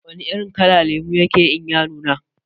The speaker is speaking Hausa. Wana irin kala lemo yake yi in ya nuna?